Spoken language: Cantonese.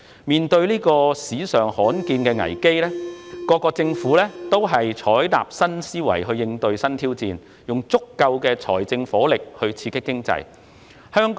面對史上罕見的危機，各國政府均採納新思維應對新挑戰，以足夠的財政火力刺激經濟。